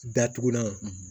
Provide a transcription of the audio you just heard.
Datugulan